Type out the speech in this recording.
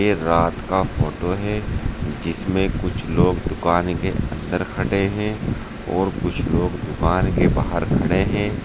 रात का फोटो है जिसमें कुछ लोग दुकान के अंदर हटे हैं और कुछ लोग दुकान के बाहर खड़े हैं।